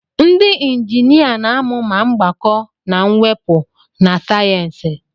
ndị injinia na-amụ ma mgbakọ na mwepụ na sayensị